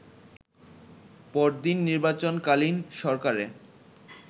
পরদিন নির্বাচনকালীন সরকারে